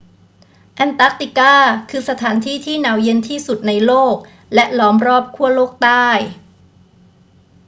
แอนตาร์กติกาคือสถานที่ที่หนาวเย็นที่สุดในโลกและล้อมรอบขั้วโลกใต้